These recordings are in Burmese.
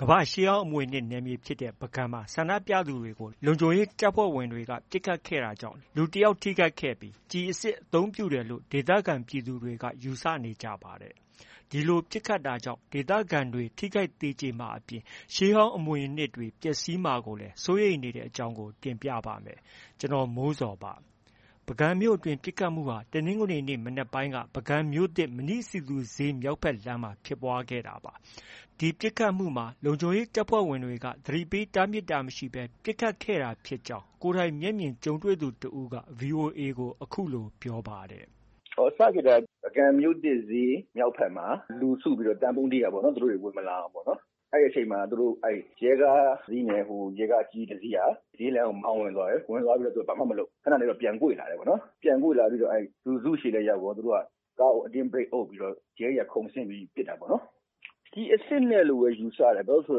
ကမ္ဘာရှေးဟောင်းအမွေအနှစ်နယ်မြေဖြစ်တဲ့ပုဂံမှာ ဆန္ဒပြသူတွေကို လုံခြုံရေးတပ်ဖွဲ့ဝင်တွေ ပစ်ခတ်တာကြောင့် လူတယောက်ထိခိုက်ခဲ့ပြီး ကျည်အစစ်အသုံးပြုတယ်လို့ ဒေသခံပြည်သူ တွေကယူဆနေကြပါတယ်။ ဒီလို ပစ်ခတ်တာကြောင့် ဒေသခံတွေဟာ လူထိခိုက်သေကျေမှာအပြင် ရှေးဟောင်းအမွေအနှစ်တွေ ပျက်စီးမှာ ကိုလည်း စိုးရိမ်နေကြတဲ့အကြောင်းကို ကိုမိုးဇော်က တင်ပြပေးထားပါတယ်။ ပုဂံမြို့အတွင်းပစ်ခတ်တာဟာ တနင်္ဂနွေနေ့မနက်ပိုင်းက ပုဂံမြို့သစ် မဏိစည်သူဈေးမြောက်ဘက် လမ်းမှာ ဖြစ်ပွားခဲ့တာပါ။ မပစ်ခတ်ခင်မှာ လုံခြုံရေးတပ်ဖွဲ့က ကြိုတင်သတိပေးတားမြစ်တာမရှိဘဲ ပစ်ခတ်ခဲ့တာဖြစ်ကြောင်း VOA ကို ကိုယ်တိုင်မျက်မြင်ကြုံတွေသူတဦးက အခုလို ပြောပြပါတယ်။ “စဖြစ်တာက ပုဂံမြို့သစ်ဈေးမြောက်ဘက်လမ်းမှာ လူစုပြီးတော့ သံပုံးတီးတာပေါ့နော်။ သူတို့ ဝင် မလာအောင်။ အဲဒီအချိန် မှာ သူတို့ ရဲကားတစ်စီးနဲ့ ရဲကား အကြီးကြီးတစီးက ဈေးလမ်းကို မောင်းဝင်သွားတယ်။ သူတို့ဘာမှမလုပ်ဘူး။ ခနနေတော့ ပြန်ကွေ့လာတယ်။ ပြန်ကွေ့လာပြီးတော့ လူစုဆီလည်း ရောက်ရော ကားကို အတင်းဘရိတ်အုပ်ပြီးတော့ ရဲတွေက ခုန်ဆင်းပြီး ပစ်တာပေါ့နော်။ ကျည်အစစ်နဲ့လို့ပဲ ယူဆတယ်။ ဘာလို့လဲဆို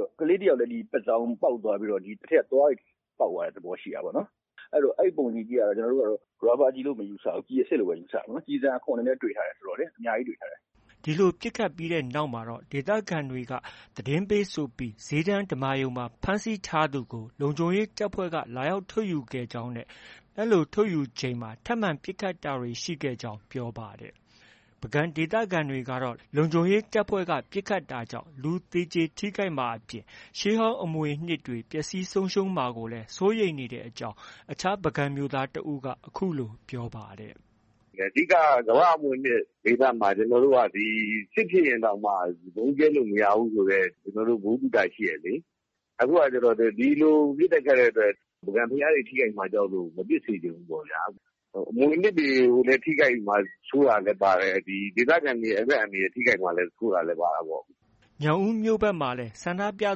တော့ ကလေးတယောက်လည်း ပါးစောင်ပေါက် သွားပြီး တော့ အထဲက သွားတွေလည်း ပေါက်သွားတဲ့ သဘောရှိတာပေါ့နော်။ အဲတော့ အဲဒီပုံတွေကြည့်ရ တာတော့ ကျနော်တို့က ရာဘာကျည်လို့ မယူဆဘူး။ ကျည်အစစ်လို့ပဲ ယူဆတယ်။ ကျည်ဆံအခွံ တွေလည်း တွေ့ထားတယ်ဆိုတော့ အများကြီးတွေ့ထားတယ်။” အဲဒီလို ပစ်ခတ်ပြီးနောက်မှတော့ ဒေသခံတွေက သတင်းပေးဆိုပြီး ဈေးတန်းဓမ္မာရုံမှာ ဖမ်းဆီးထား သူကို လုံခြုံရေးတပ်ဖွဲ့က လာရောက်ထုတ်ယူခဲ့ကြောင်းနဲ့ လိုထုတ်ယူချိန်မှာ ထပ်မံပစ်ခတ်တာတွေ ရှိခဲ့ကြောင်း ပြောပါတယ်။ ပုဂံဒေသခံတွေကတော့ လုံခြုံရေးတပ်ဖွဲ့ကပစ်ခတ်တာကြောင့် လူသေကျေထိခိုက်မှာအပြင် ရှေးဟောင်းအမွေအနှစ်တွေ ပျက်စီးမှာကိုလည်း စိုးရိမ်နေကြတဲ့အကြောင်း အခြားပုဂံမြို့သားတဦးက အခုလိုပြောပါတယ်။ “အဓိကက ကမ္ဘာအမွေအနှစ်ဒေသမှာ စစ်ဖြစ်ရင်တောင်မှ ဗုံးကြဲလို့ မရဘူးဆိုတဲ့ ကျနော်တို့ ဗဟု သုတ ရှိတယ်လေ။ အခုကကျတော့ ဒီလိုပစ်တဲ့ခတ်တဲ့အတွက် ပုဂံဘုရားတွေ ထိခိုက်မှာကြောက်လို့ မပစ်စေချင်ဘူးပေါ့ဗျာ။ အမွေအနှစ်တွေကို ထိခိုက်မှာစိုးတာလည်းပါတယ်။ ဒီဒေသခံတွေ အသက်အန္တရာယ်ထိခိုက်မှာ စိုးတာလည်း ပါတာပေါ့။ ” ညောင်ဦးမြို့ဘက်မှာလည်း ဆန္ဒပြ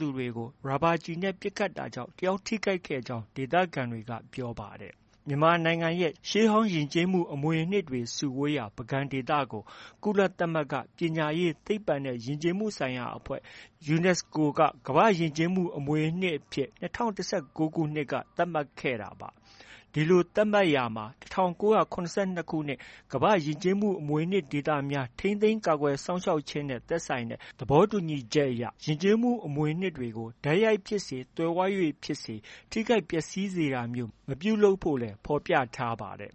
သူတွေကို ရာဘာကျည်နဲ့ ပစ်ခတ်တာကြောင့် တယောက် ထိခိုက်ကြောင်း ဒေသခံတွေက ပြောပါတယ်။ မြန်မာနိုင်ငံရဲ့ ရှေးဟောင်းယဉ်ကျေးမှု အမွေအနှစ်တွေစုဝေးရာ ပုဂံဒေသကို ကုလသမဂ္ဂ ပညာရေး၊ သိပ္ပံနဲ့ ယဉ်ကျေးမှုဆိုင်ရာအဖွဲ့ UNESCO က ကမ္ဘာ့ယဉ်ကျေးမှုအမွေအနှစ်အဖြစ် ၂၀၁၉ခုနှစ် က သတ်မှတ်ခဲ့တာပါ။ ဒီလို သတ်မှတ်ရာမှာ ၁၉၇၂ခုနှစ် ကမ္ဘာယဉ်ကျေးမှုအမွေအနှစ်ဒေသများ ထိန်းသိမ်း ကာကွယ်စောင့်ရှောက်ခြင်းနဲ့ သက်ဆိုင်တဲ့ သဘောတူညီချက်မှာ ယဉ်ကျေးမှု အမွေ အနှစ်တွေကို တိုက်ရိုက်ဖြစ်စေ၊ သွယ်ဝိုက်၍ဖြစ်စေ ထိခိုက်ပျက်ဆီးစေတာမျိုး မပြုလုပ်ဖို့လည်း ဖော်ပြထားပါတယ်။